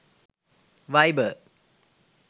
viber